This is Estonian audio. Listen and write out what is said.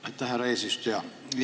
Aitäh, härra eesistuja!